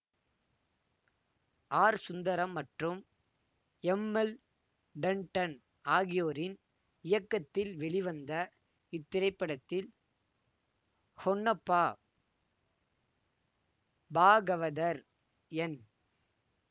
R Sundaram மற்றும் M L Tandon ஆகியோரின் இயக்கத்தில் வெளிவந்த இத்திரைப்படத்தில் ஹொன்னப்பா பாகவதர் என்